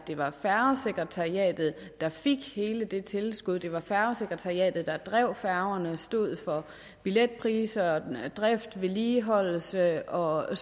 det var færgesekretariatet der fik hele det tilskud så det var færgesekretariatet der drev færgerne altså stod for billetpriser drift vedligeholdelse og og